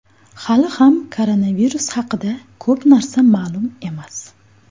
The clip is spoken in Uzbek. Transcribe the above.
Hali ham koronavirus haqida ko‘p narsa ma’lum emas.